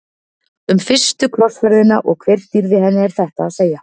Um fyrstu krossferðina og hver stýrði henni er þetta að segja.